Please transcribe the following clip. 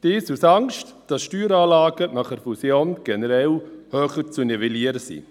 dies aus Angst, dass die Steueranlagen nach der Fusion generell höher zu nivellieren sind.